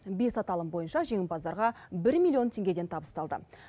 бес аталым бойынша жеңімпаздарға бір миллион теңгеден табысталды